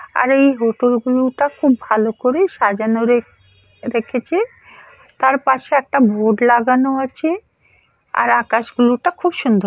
আরে এই হোটেল গুলোটা খুব ভালো করে সাজানোর রে-রেখেছে তার পাশে একটা বোর্ড লাগানো আছে। আর আকাশ গুলোটা খুব সুন্দর।